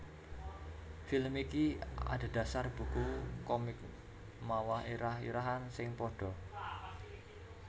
Film iki adhedhasar buku komik mawa irah irahan sing padha